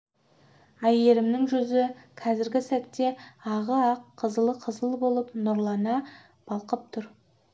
әйгерімнің жүзі қазіргі сәтте ағы ақ қызылы қызыл болып нұрлана балқып тұр